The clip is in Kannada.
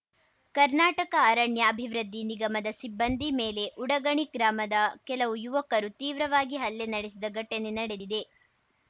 ಕರ್ನಾಟಕ ಅರಣ್ಯ ಅಭಿವೃದ್ಧಿ ನಿಗಮದ ಸಿಬ್ಬಂದಿ ಮೇಲೆ ಉಡಗಣಿ ಗ್ರಾಮದ ಕೆಲವು ಯುವಕರು ತೀವ್ರವಾಗಿ ಹಲ್ಲೆ ನಡೆಸಿದ ಘಟನೆ ನಡೆದಿದೆ